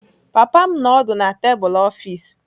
Papa m nọ ọdụ na tebụl ọfịs.